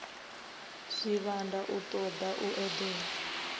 zwivhanda u toda u edela